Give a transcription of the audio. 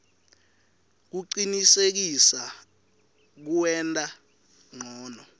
kucinisekisa kuwenta ncono